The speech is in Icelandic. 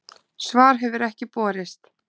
Svar hefur ekki borist